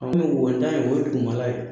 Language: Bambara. An wontan in o ye dugumala ye